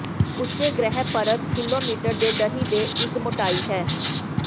ਉੱਚੇ ਗ੍ਰਹਿ ਪਰਤ ਕਿਲੋਮੀਟਰ ਦੇ ਦਹਿ ਦੇ ਇੱਕ ਮੋਟਾਈ ਹੈ